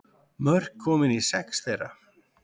Mörk komin í sex þeirra